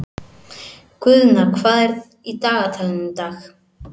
Guðna, hvað er í dagatalinu í dag?